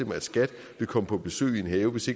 mig at skat ville komme på besøg i en have hvis